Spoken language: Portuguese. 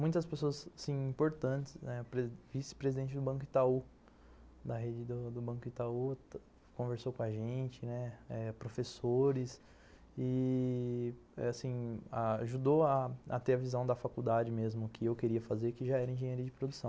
Muitas pessoas, assim, importantes, o vice-presidente do Banco Itaú, da rede do Banco Itaú, conversou com a gente, professores, ih... ajudou a ter a visão da faculdade mesmo que eu queria fazer, que já era engenheiro de produção.